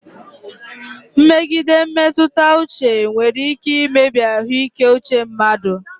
Mmegide mmetụta uche nwere ike imebi ahụike uche mmadụ.